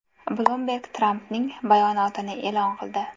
Bloomberg Trampning bayonotini e’lon qildi.